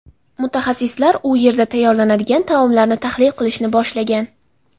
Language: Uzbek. Mutaxassislar u yerda tayyorlanadigan taomlarni tahlil qilishni boshlagan.